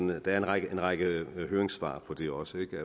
der er en række række høringssvar på det også